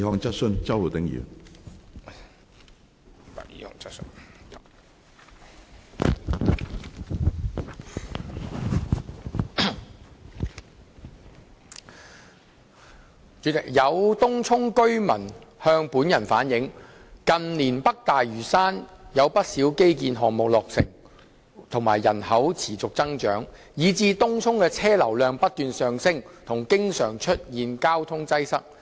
主席，有東涌居民向本人反映，近年北大嶼山有不少基建項目落成和人口持續增長，以致東涌的車流量不斷上升和經常出現交通擠塞。